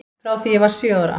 Frá því ég var sjö ára.